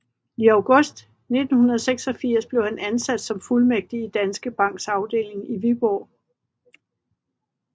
I august 1986 blev han ansat som fuldmægtig i Danske Banks afdeling i Viborg